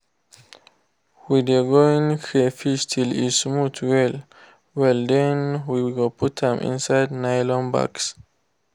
we de going crayfish till e smooth well well then we go put am inside nylon bags